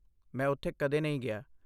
ਮੈਂ ਉੱਥੇ ਕਦੇ ਨਹੀਂ ਗਿਆ।